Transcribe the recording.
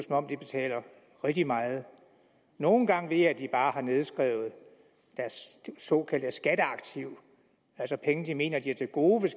om de betaler rigtig meget nogle gange ved jeg at de bare har nedskrevet deres såkaldte skatteaktiv altså penge de mener at have til gode